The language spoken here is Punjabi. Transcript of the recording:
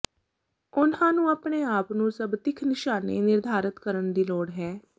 ਉਹਨਾਂ ਨੂੰ ਆਪਣੇ ਆਪ ਨੂੰ ਸਭ ਤਿੱਖ ਨਿਸ਼ਾਨੇ ਨਿਰਧਾਰਤ ਕਰਨ ਦੀ ਲੋੜ ਹੈ